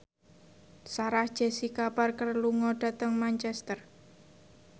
Sarah Jessica Parker lunga dhateng Manchester